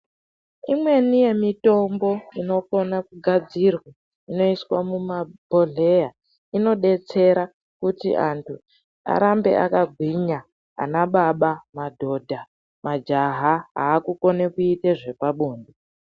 Imweni yemutombo inokone kugadzirwa imokone kuiswa muzvibhohlera inoite kuti anhu arambe akagwinya ana baba mdhodha majaya ava kukone kuita zvepabonde.